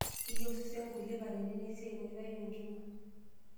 Keyieu osesen nkulie katitin esiai naitayu enkima.